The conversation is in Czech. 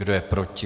Kdo je proti?